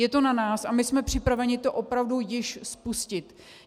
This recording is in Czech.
Je to na nás a my jsme připraveni to opravdu již spustit.